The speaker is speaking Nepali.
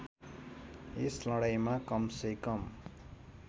यस लडाईँँमा कमसेकम